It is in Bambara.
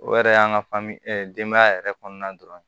O yɛrɛ y'an ka fani denbaya yɛrɛ kɔnɔna dɔrɔn